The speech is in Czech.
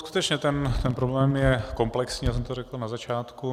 Skutečně ten problém je komplexní, já jsem to řekl na začátku.